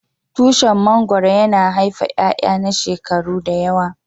Tushin mangoro yana haife iyaiya na shekaru da yawa.